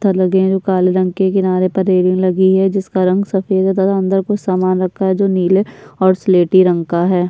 ता लगेगें काले रंग के किनारे पर रेलिंग लगी है जिसका रंग सफेद है तथा अंदर कुछ सामान रखा है जो नीले और सलेटी रंग का है।